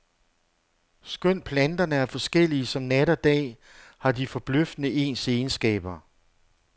Skønt planterne er forskellige som nat og dag, har de forbløffende ens egenskaber.